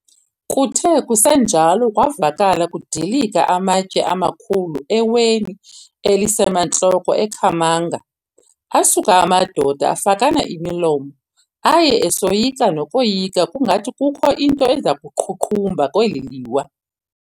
Kuthe kusenjalo kwavakala kudilika amatye amakhulu eweni elisemantloko eKhamanga, asuka amadoda afakana imilomo, aye esoyika nokoyika ukungathi kukho nto iza kuqhuqhumba kweli liwa.